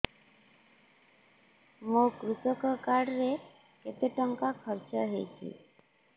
ମୋ କୃଷକ କାର୍ଡ ରେ କେତେ ଟଙ୍କା ଖର୍ଚ୍ଚ ହେଇଚି